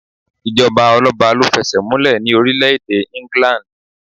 Ìjọba ọlọ́ba ló fẹsẹ̀múlẹ̀ ní orílẹ̀-èdè England.